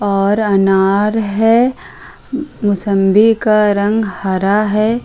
और अनार है। मौसम्बी का रंग हरा है।